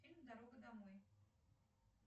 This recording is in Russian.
фильм дорога домой